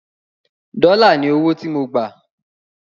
dòla ní ọwọ tí mọ gbà.